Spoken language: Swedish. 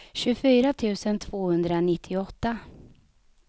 tjugofyra tusen tvåhundranittioåtta